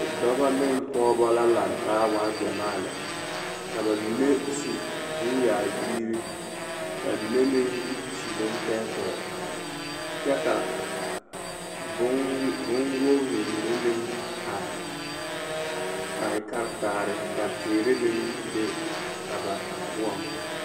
Dɔbɔ ne pɔgebɔ la lantaa waa gyɛmaa lɛ ka bamine su bonyaayirii, bamine meŋ su bontɛɛtɛɛ kyɛ ka bonwogiri mine meŋ are a e karetaare ka teere meŋ be a ba poɔŋ.